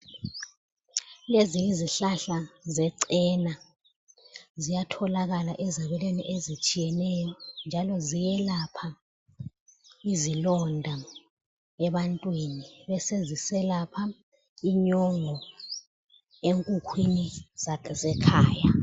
Kulezinye izihlahla zechena ziyatholakala ezabelweni ezitshiyeneyo njalo ziyelapha izilonda ebantwini beseziselapha inyongo enkukhwini zekhaya.